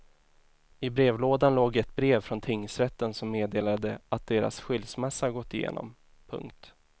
I brevlådan låg ett brev från tingsrätten som meddelade att deras skilsmässa gått igenom. punkt